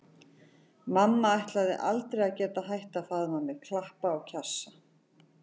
Mamma ætlaði aldrei að geta hætt að faðma mig, klappa og kjassa.